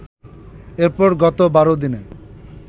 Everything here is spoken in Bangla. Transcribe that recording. এরপর গত ১২ দিনে